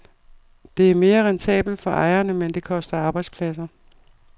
Det er mere rentabelt for ejerne, men det koster arbejdspladser.